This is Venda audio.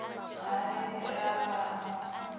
ha ii u lafha ha